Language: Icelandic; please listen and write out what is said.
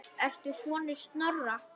Ertu sonur Snorra?